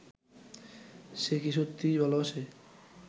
সে কি সত্যিই ভালোবাসে